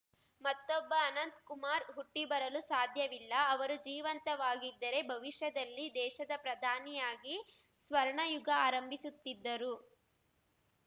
ಮತ್ತೊಬ್ಬ ಅನಂತ್ ಕುಮಾರ್ ಹುಟ್ಟಿಬರಲು ಸಾಧ್ಯವಿಲ್ಲ ಅವರು ಜೀವಂತವಾಗಿದ್ದರೆ ಭವಿಷ್ಯದಲ್ಲಿ ದೇಶದ ಪ್ರಧಾನಿಯಾಗಿ ಸ್ವರ್ಣಯುಗ ಆರಂಭಿಸುತ್ತಿದ್ದರು